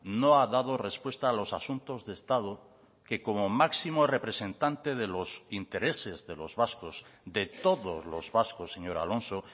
no ha dado respuesta a los asuntos de estado que como máximo representante de los intereses de los vascos de todos los vascos señor alonso